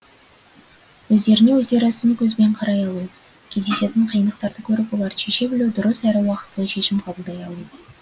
өздеріне өздері сын көзбен қарай алу кездесетін қиындықтарды көріп оларды шеше білу дұрыс әрі уақытылы шешім қабылдай алу